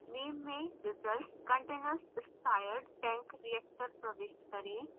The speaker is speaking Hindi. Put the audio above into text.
name में results – continuous stirred tank reactor प्रविष्ट करें